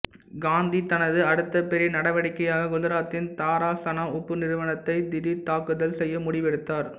காந்தி தனது அடுத்த பெரிய நடவடிக்கையாக குஜராத்தின் தாராசனா உப்பு நிறுவனத்தைத் திடீர்த் தாக்குதல் செய்ய முடிவெடுத்தார்